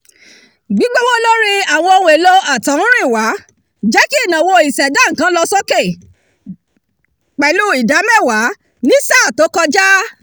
gbígbówó lórí àwọn ohun-èlò àtọ̀húrìnwá jẹ́ kí ìnáwó ìṣẹ̀dá nǹkan lọ sókè pẹ̀lú ìdá mẹ́wàá ní sáà tó kọjá